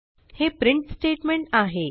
हे print statement आहे